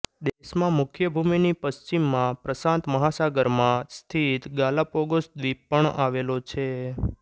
દેશમાં મુખ્ય ભૂમિની પશ્ચિમમાં પ્રશાંત મહાસાગરમાં સ્થિત ગાલાપોગોસ દ્વીપ પણ આવેલો છે